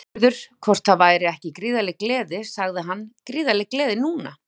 Aðspurður hvort það væri ekki gríðarleg gleði sagði hann Gríðarleg gleði núna.